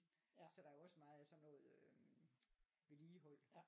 Ja så der er jo også meget af sådan noget øhm vedligehold